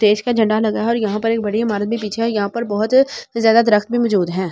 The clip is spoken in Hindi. देश का झंडा लगा हैं और यहाँ पर बड़ी इमारत भी पीछे यहाँ पर बहुत ज़्यादा दरख़्त भी मोझूद हैं।